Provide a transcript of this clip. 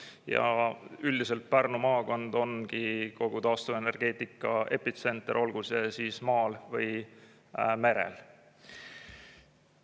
Ja üldiselt Pärnu maakond ongi kogu taastuvenergeetika epitsenter, olgu see siis maal või merel.